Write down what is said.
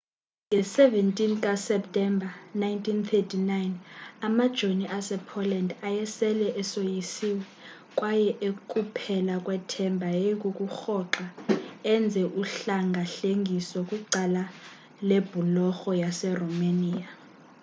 nge-17 kaseptemba 1939 amajoni asepoland ayesele esoyisiwe kwaye ekuphela kwethemba yayikukurhoxa enze uhlengahlengiso kwicala lebhulorho yaseromania